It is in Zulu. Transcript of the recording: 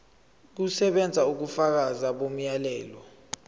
kusebenza ubufakazi bomyalelo